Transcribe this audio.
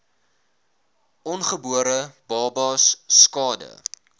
ongebore babas skade